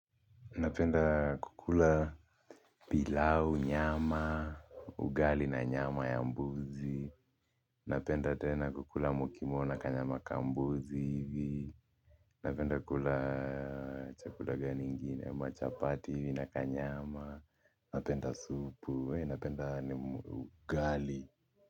Napenda kukula pilau nyama ugali na nyama ya mbuzi napenda tena kukula mukimo na kanyama kambuzi hivi napenda kukula chakula gani ingine, machapati hivi na kanyama napenda supu, napenda ugali.